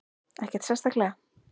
Ekkert sérstaklega.